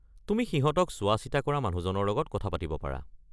তুমি সিহঁতক চোৱা-চিতা কৰা মানুহজনৰ লগত কথা পাতিব পাৰা।